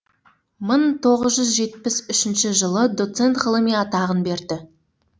мың тоғыз жүз жетпіс үшінші жылы доцент ғылыми атағын берді